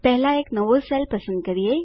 પહેલા એક નવો સેલ પસંદ કરીએ